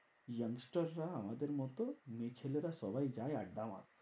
Young star রা আমাদের মতো মেয়ে ছেলে রা সবাই যায় আড্ডা মারতে।